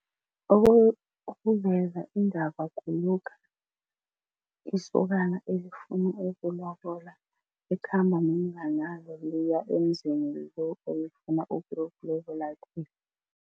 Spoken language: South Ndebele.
Ukuveza indaba kulokha isokana elifuna ukulobola likhamba nomnganalo liya emzini lo elifuna ukuyokulobola kiwo.